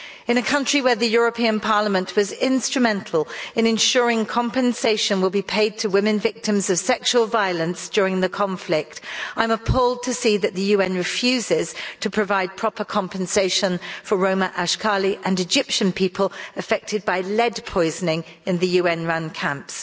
In a country where the European Parliament was instrumental in ensuring compensation will be paid to women victims of sexual violence during the conflict, I'm appalled to see that the UN refuses to provide proper compensation for Roma, Ashkali and Egyptian people affected by lead poisoning in the UN run camps.